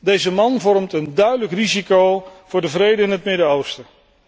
Deze man vormt een duidelijk risico voor de vrede in het Midden Oosten.